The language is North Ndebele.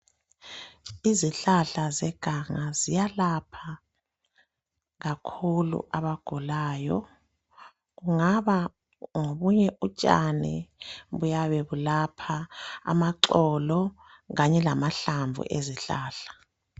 Izihlahla zeganga ziyalapha kakhulu abagulayo, kungaba ngobunye utshani, amaxolo, kanye lamahlamvu ezihlahla.